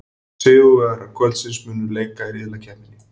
Sigurvegarar kvöldsins munu leika í riðlakeppninni.